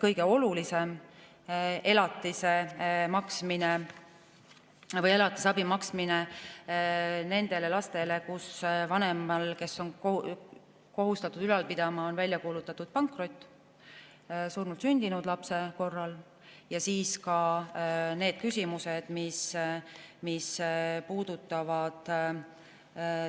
Kõige olulisem on elatise või elatisabi maksmine nendele lastele, kelle vanema suhtes, kes on kohustatud neid ülal pidama, on välja kuulutatud pankrot; surnult sündinud lapse korral; ja ka need küsimused, mis puudutavad